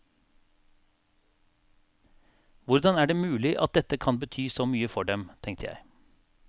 Hvordan er det mulig at dette kan bety så mye for dem, tenkte jeg.